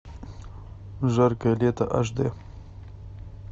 жаркое лето аш д